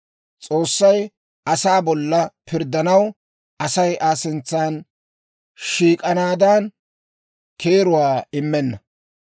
S'oossay asaa bolla pirddanaw, Asay Aa sintsa shiik'anaadan keeruwaa immenna.